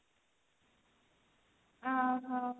ଓ ହୋ